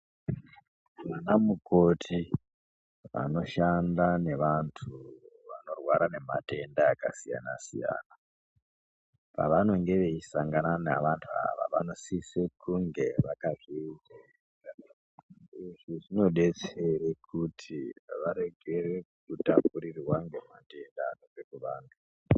Amukoti anoshanda nevantu vanorwara nematenda akasiyana siyanai pavanonge veisangana navantu ava vanosise kunge . Izvi zvinodetsere kuti varekere kutapurirwa nematenda anobve kuvantu.